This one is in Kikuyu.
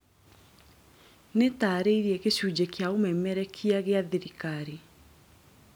nĩtarĩirie gĩcunjĩ kĩa ũmemerekia gĩa thirikari